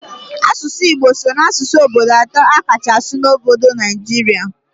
Asụsụ Igbo so n'asụsụ obodo atọ a kacha asụ n'obodo Naijirịa